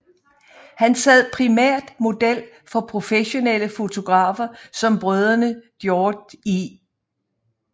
Han sad primært model for professionelle fotografer som brødrene Georg E